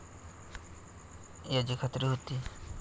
याची खात्री होती.